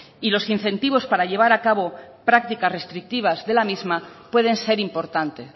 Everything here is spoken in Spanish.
y los incentivos para llevar a cabo prácticas restrictivas de la misma pueden ser importante